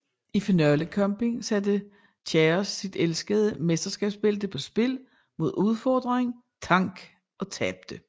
I finalekampen satte Chaos sit elskede mesterskabsbælte på spil mod udfordreren Tank og tabte